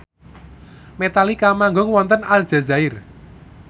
Metallica manggung wonten Aljazair